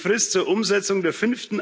Die Frist zur Umsetzung der